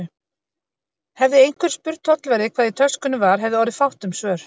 Hefði einhver spurt tollverði, hvað í töskunni var, hefði orðið fátt um svör.